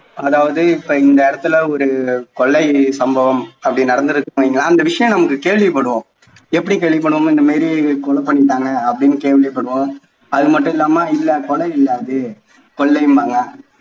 அதாவது இப்போ இந்த இடத்தில ஒரு கொலை சம்பவம் அப்படி நடந்துருக்குன்னு வையுங்களேன் அந்த விஷயம் நம்ம கேள்விப்படுவோம் எப்படி கேள்விப்படுவோம் இந்த மாதிரி கொலை பண்ணிட்டாங்க அப்படின்னு கேள்விப்படுவோம் அது மட்டும் இல்லாம கொலை இல்ல அது கொள்ளைம்பாங்க